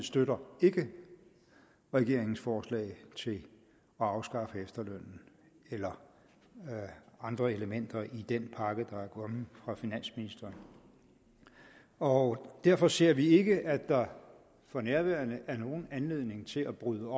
støtter regeringens forslag til at afskaffe efterlønnen eller andre elementer i den pakke der er kommet fra finansministeren og derfor ser vi ikke at der for nærværende er nogen anledning til at bryde